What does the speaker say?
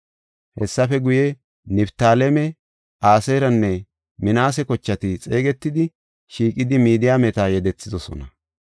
Hessafe guye, Niftaaleme, Aseeranne Minaase kochati xeegetidi, shiiqidi Midiyaameta yedethidosona.